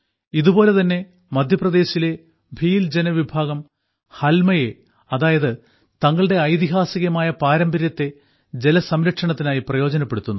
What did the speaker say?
ഇതുപോലെ തന്നെ മദ്ധ്യപ്രദേശിലെ ഭീൽ ജനവിഭാഗം ഹൽമയെ അതായത് തങ്ങളുടെ ഐതിഹാസികമായ പാരമ്പര്യത്തെ ജലസംരക്ഷണത്തിനായി പ്രയോജനപ്പെടുത്തുന്നു